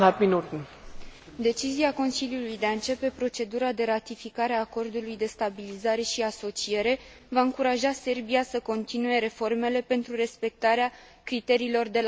Decizia Consiliului de a începe procedura de ratificare a Acordului de stabilizare și asociere va încuraja Serbia să continue reformele pentru respectarea criteriilor de la Copenhaga.